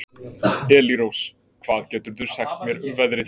Elírós, hvað geturðu sagt mér um veðrið?